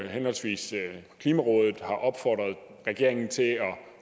henholdsvis har opfordret regeringen til at